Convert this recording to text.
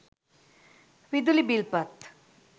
විදුලි බිල් පත්